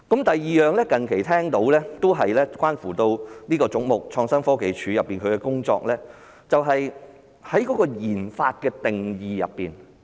第二，我最近聽到的，都是關乎這個總目：創新科技署的工作，就是在研發的定義問題。